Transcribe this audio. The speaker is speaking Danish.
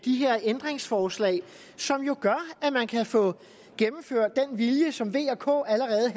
her ændringsforslag som jo gør at man kan få gennemført den vilje som v og k allerede